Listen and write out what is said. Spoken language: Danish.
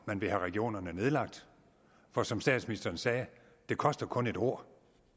man vil have regionerne nedlagt for som statsministeren sagde det koster kun et ord